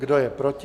Kdo je proti?